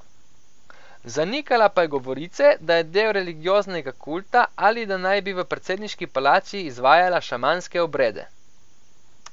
Zanikala pa je govorice, da je del religioznega kulta ali da naj bi v predsedniški palači izvajala šamanske obrede.